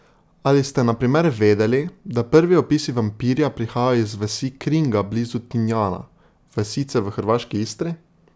Ali ste na primer vedeli, da prvi opisi vampirja prihajajo iz vasi Kringa blizu Tinjana, vasice v hrvaški Istri?